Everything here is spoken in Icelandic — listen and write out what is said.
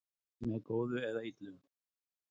Með góðu eða illu